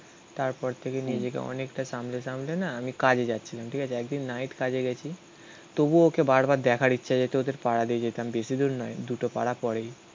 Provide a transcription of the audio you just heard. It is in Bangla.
তারপর থেকে নিজেকে অনেকটা সামলে সামলে না আমি কাজে যাচ্ছিলাম. ঠিক আছে. একদিন নাইট কাজে গেছি তবুও ওকে বারবার দেখার ইচ্ছা যেত ওদের পাড়া দিয়ে যেতাম. বেশি দূর নয়. দুটো পাড়া পরেই